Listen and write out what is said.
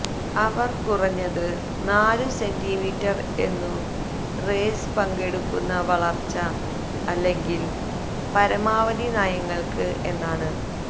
അവർ കുറഞ്ഞത് നാലു സെന്റിമീറ്റർ എന്നു റേസ് പങ്കെടുക്കുന്ന വളർച്ച അല്ലെങ്കിൽ പരമാവധി നയങ്ങൾക്ക് എന്നാണ്